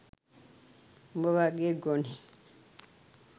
උඹ වගේ ගොනෙක්